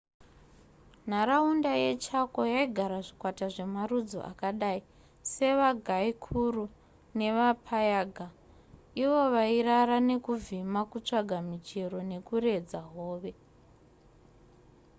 nharaunda yechaco yaigara zvikwata zvemarudzi akadai sevaguaycurú nevapayaguá avo vairara nekuvhima kutsvaga michero nekuredza hove